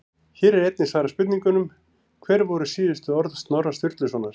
Hér er einnig svarað spurningunum: Hver voru síðustu orð Snorra Sturlusonar?